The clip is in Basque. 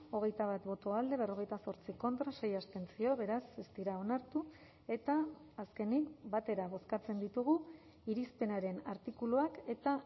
hogeita bat boto alde berrogeita zortzi contra sei abstentzio beraz ez dira onartu eta azkenik batera bozkatzen ditugu irizpenaren artikuluak eta